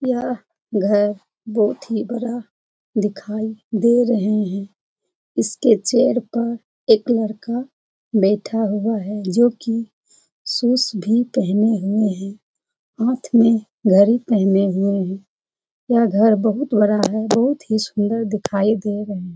यह घर बोहोत ही बड़ा दिखाई दे रहे है। इसके चेयर पर एक लड़का बैठा हुआ है जो कि शूज भी पेहने हुए है। हाथ में घड़ी पेहने हुए है। यह घर बहुत बड़ा है बहुत ही सुंदर दिखाई दे रहे है।